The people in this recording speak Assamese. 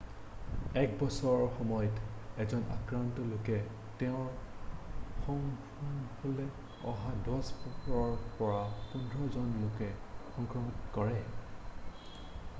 1 বছৰৰ সময়ত এজন আক্ৰান্ত লোকে তেওঁৰ সংস্পৰ্শলৈ অহা 10 ৰ পৰা 15 জন লোকলৈ সংক্ৰমিত কৰে